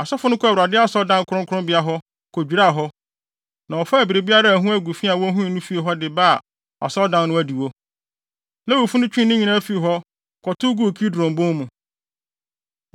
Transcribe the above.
Asɔfo no kɔɔ Awurade Asɔredan kronkronbea hɔ, kodwiraa hɔ, na wɔfaa biribiara a ɛho agu fi a wohui no fii hɔ de baa Asɔredan no adiwo. Lewifo no twee ne nyinaa fii hɔ, kɔtow guu Kidron Bon mu.